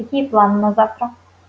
какие планы на завтра